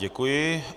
Děkuji.